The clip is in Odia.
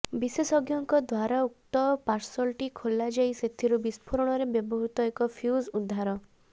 ବିଶେଷଜ୍ଞଙ୍କ ଦ୍ୱାରାଉକ୍ତ ପାର୍ସଲଟି ଖୋଲାଯାଇ ସେଥିରୁ ବିସ୍ଫୋରଣରେ ବ୍ୟବହୃତ ଏକ ଫ୍ୟୁଜ୍ ଉଦ୍ଧାର